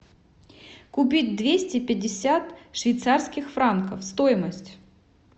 купить двести пятьдесят швейцарских франков стоимость